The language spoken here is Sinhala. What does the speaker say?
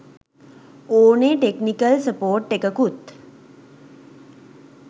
ඕනේ ටෙක්නිකල් සපෝර්ට් එකකුත්